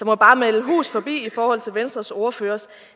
må bare melde hus forbi i forhold til venstres ordførers